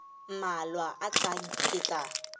mmalwa a tlang ke tla